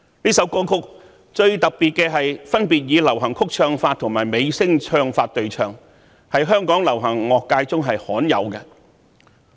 這首歌曲的最特別之處是以流行曲唱法和美聲唱法對唱，在香港流行樂界屬罕有之作。